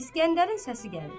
İsgəndərin səsi gəlir.